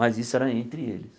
Mas isso era entre eles.